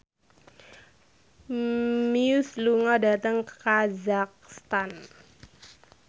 Muse lunga dhateng kazakhstan